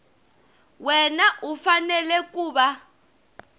wana u fanele ku va